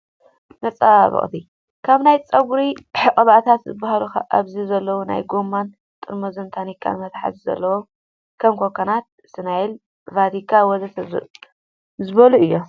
መፀባበቅቲ ፦ ካብ ናይ ፀጉሪ ቅብኣታት ዝብሃሉ ኣብዚ ዘለው ናይ ጎማን ጥርሙዝ ታንካን መትሓዚ ዘለዎም ከም ኮኮናት፣ ስናይል፣ ቫቲካ ወዘተ ዝበሉ እዮም።